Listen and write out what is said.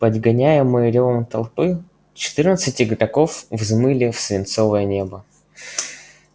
подгоняемые рёвом толпы четырнадцать игроков взмыли в свинцовое небо